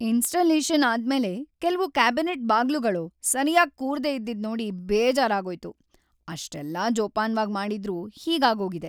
Installation ಆದ್ಮೇಲೆ ಕೆಲ್ವು cabinet ಬಾಗ್ಲುಗಳು ಸರ್ಯಾಗ್ ಕೂರ್ದೇ ಇದ್ದಿದ್ನೋಡಿ ಬೇಜಾರಾಗೋಯ್ತು, ಅಷೆಲ್ಲ ಜೋಪಾನ್ವಾಗ್‌ ಮಾಡಿದ್ರೂ ಹೀಗಾಗೋಗಿದೆ.